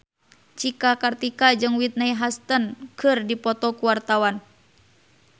Cika Kartika jeung Whitney Houston keur dipoto ku wartawan